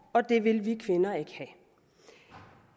og det vil vi kvinder ikke have